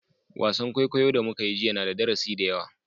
Wasan kwaikwayo da muka yi jiya na da darasi da yawa